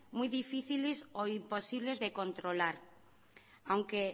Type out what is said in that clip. muy difíciles o imposibles de controlar aunque